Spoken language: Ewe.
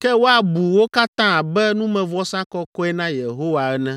ke woabu wo katã abe numevɔsa kɔkɔe na Yehowa ene.